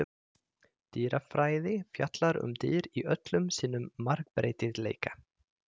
Dýrafræði fjallar um dýr í öllum sínum margbreytileika.